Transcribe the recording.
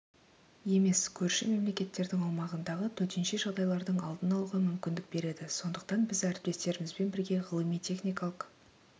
емес көрші мемлекеттердің аумағындағы төтенше жағдайлардың алдын алуға мүмкіндік береді сондықтан біз әріптестерімізбен бірге ғылыми-техникалық